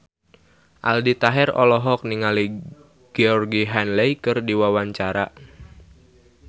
Aldi Taher olohok ningali Georgie Henley keur diwawancara